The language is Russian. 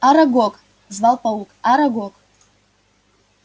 арагог звал паук арагог